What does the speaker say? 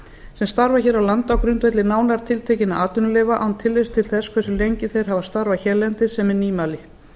sem starfa hér á landi á grundvelli nánar tiltekinna atvinnuleyfa án tillits til þess hversu lengi þeir hafa starfað hérlendis sem er nýmæli